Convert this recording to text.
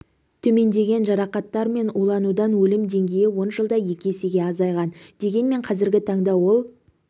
төмендеген жарақаттар мен уланудан өлім деңгейі он жылда екі есеге азайған дегенмен қазіргі таңда ол